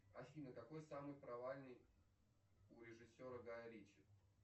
афина какой самый провальный у режиссера гая риччи